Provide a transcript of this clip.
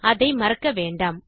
அதை மறக்க வேண்டாம்